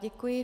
Děkuji.